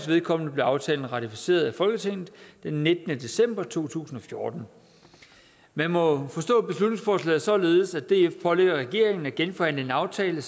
vedkommende blev aftalen ratificeret af folketinget den nittende december to tusind og fjorten man må forstå beslutningsforslaget således at df pålægger regeringen at genforhandle en aftale